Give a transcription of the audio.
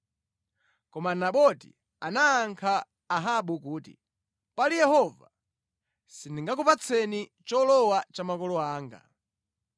Koma Naboti anayankha Ahabu kuti, “Pali Yehova, sindingakupatseni cholowa cha makolo anga.”